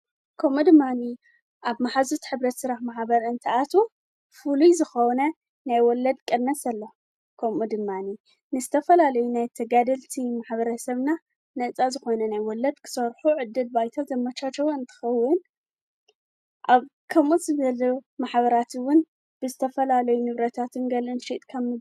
ከምኡድማኒ ኣብ መሕዝት ሕብረት ስራሕ ማሕበርእንቲኣት ፉሉይ ዝኾነ ናይወለድ ቀነስ ኣለ ኮሞ ድማኒ ንዝተፈላለየ ናይ ተጋድልቲ ማሕበረ ሰብና ነፃ ዝኾነ ናይወለድ ክሰርሑ ዕድል ባይታ ዘመቻቸወ እንተኸውን ኣብ ከምኡጽ በል ማሕበራትውን ብዝተፈላለየ ንብረታት ገልእን ሽጥካም።